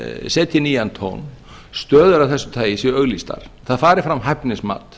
setji nýjan tón stöður af þessu tagi séu auglýstar það fari fram hæfnismat